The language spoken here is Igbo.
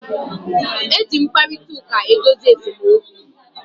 E ji mkparịtaụka edozi esemokwu.